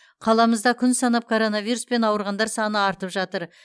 қаламызда күн санап коронавируспен ауырғандар саны артып жатыр